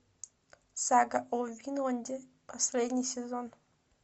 сага о винланде последний сезон